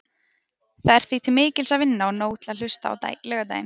Það er því til mikils að vinna og nóg til að hlusta á laugardaginn.